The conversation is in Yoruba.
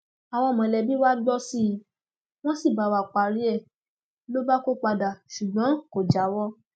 àwọn mọlẹbí wa gbọ sí i wọn sì bá wa párí ẹ ló bá kó padà ṣùgbọn kò jáwọ